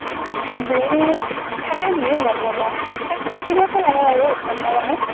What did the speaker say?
break থাকে নেকি গোম নাপাও, থাকিব তো লাগে থাকিব আৰু এক ঘণ্টা মানৰ।